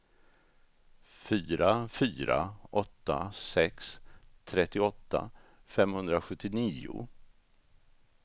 fyra fyra åtta sex trettioåtta femhundrasjuttionio